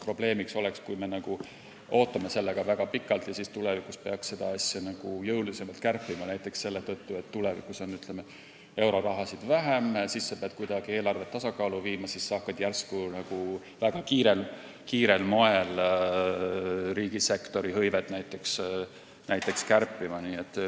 Probleem oleks, kui me ootame sellega väga pikalt ja siis tulevikus peaks seda jõulisemalt kärpima, näiteks selle tõttu, et euroraha on vähem ja siis sa pead kuidagi eelarvet tasakaalu viima ning hakkad järsku väga kiirel moel riigisektori hõivet vähendama.